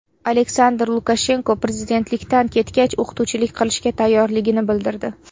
Aleksandr Lukashenko prezidentlikdan ketgach o‘qituvchilik qilishga tayyorligini bildirdi.